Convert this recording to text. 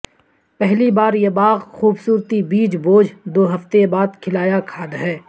پہلی بار یہ باغ خوبصورتی بیج بوجھ دو ہفتے بعد کھلایا کھاد ہے